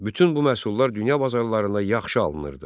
Bütün bu məhsullar dünya bazarlarında yaxşı alınırdı.